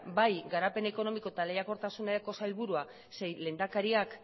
bai garapen ekonomiko eta lehiarkotasuneko sailburua zein lehendakariak